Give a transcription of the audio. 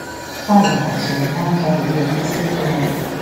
Ha laghachiri n'ájá wee kwụsị ịdị adị.